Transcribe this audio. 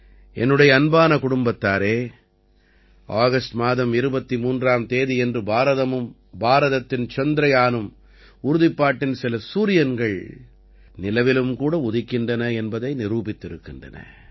என்னுடைய அன்பான குடும்பத்தாரே ஆகஸ்ட் மாதம் 23ஆம் தேதியன்று பாரதமும் பாரதத்தின் சந்திரயானும் உறுதிப்பாட்டின் சில சூரியன்கள் நிலவிலும் கூட உதிக்கின்றன என்பதை நிரூபித்திருக்கின்றன